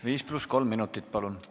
5 + 3 minutit, palun!